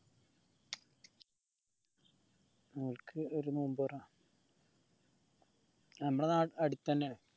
നോമ്പ് തൊറ നമ്മള അടുതന്നെയാണ്